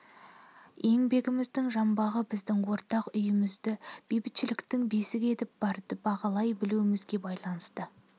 еңбегіміздің жанбағы біздің ортақ үйімізді бейбітшіліктің бесігі етіп барды бағалай білуімізге байланысты